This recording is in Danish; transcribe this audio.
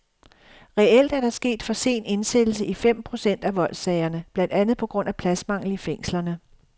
Reelt er der sket for sen indsættelse i fem procent af voldssagerne, blandt andet på grund af pladsmangel i fængslerne.